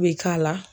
Bɛ k'a la